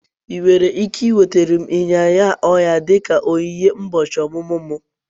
Ị nwere ike nweta m ịnyịnya ọhịa dị ka onyinye ụbọchị ọmụmụ m?